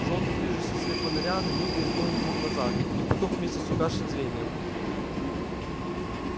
жёлтый движущийся свет фонаря на миг резнул ему глаза и потух вместе с угасшим зрением